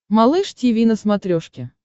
малыш тиви на смотрешке